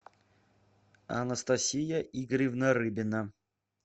анастасия игоревна рыбина